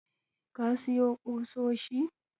ka siyo kusoshi?